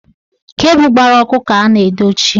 Kebu gbara ọkụ ka a na-edochi.